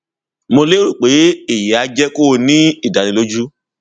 mo lérò pé èyí á jẹ kó o ní ìdánilójú